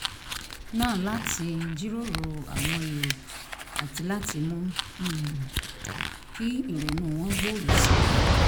náà láti jíròrò àwọn èrò àti láti mú um kí ìrònú wọn gbòòrò sí i